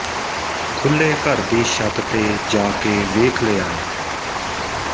ਖੁੱਲ੍ਹੇ ਘਰ ਦੀ ਛੱਤ ਤੇ ਜਾ ਕੇ ਵੇਖ ਲਿਆ ਏ